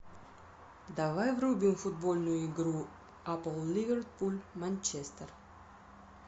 давай врубим футбольную игру апл ливерпуль манчестер